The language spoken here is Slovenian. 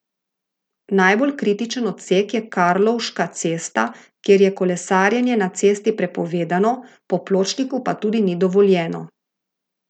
Najbolj kritičen odsek je Karlovška cesta, kjer je kolesarjenje na cesti prepovedano, po pločniku pa tudi ni dovoljeno.